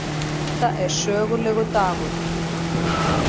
Þetta er sögulegur dagur